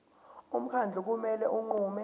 umkhandlu kumele unqume